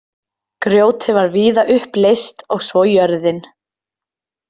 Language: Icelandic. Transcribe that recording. Grjótið var víða upp leyst og svo jörðin.